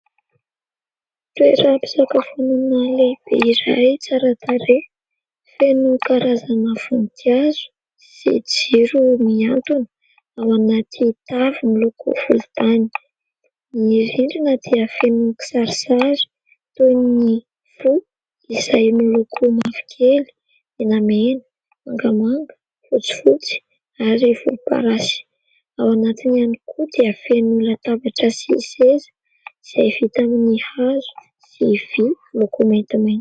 Toeram-pisakafoanana lehibe iray tsara tarehy, feno karazana voninkazo sy jiro miantona ao anaty tavy miloko volontany, ny rindrina dia feno kisarisary toy ny fo izay miloko mavokely, menamena na mangamanga, fotsifotsy ary volomparasy ; ao anatiny ihany koa dia feno latabatra sy seza izay vita amin'ny hazo sy vy loko maintimainty.